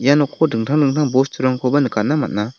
ia noko dingtang dingtang bosturangkoba nikatna man·a.